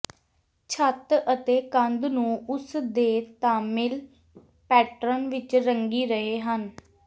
ਛੱਤ ਅਤੇ ਕੰਧ ਨੂੰ ਉਸ ਦੇ ਤਾਮਿਲ ਪੈਟਰਨ ਵਿੱਚ ਰੰਗੀ ਰਹੇ ਹਨ